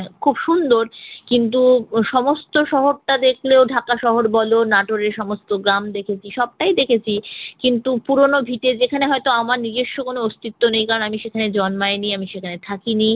খুব সুন্দর। কিন্তু সমস্ত শহরটা দেখলেও ঢাকা শহর বল, নাটরের সমস্ত গ্রাম দেখেছি সবটাই দেখেছি। কিন্তু পুরনো ভিটে যেখানে হয়ত আমার নিজস্ব কোন অস্তিত্ব নেই কারণ আমি সেখানে জন্মাইনি আমি সেখানে থাকিনি।